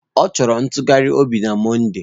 Ọ chọrọ ntụgharị obi na Mọnde